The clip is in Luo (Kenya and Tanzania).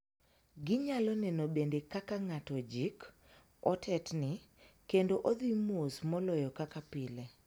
Ginyalo neno bende ka ng'ato ojik, otetni, kendo odhi mos moloyo kaka pile.